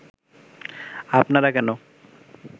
আপনারা কেন